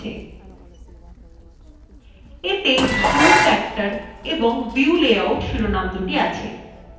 এতে zoom factor এবং view layout শিরোনামদুটি আছে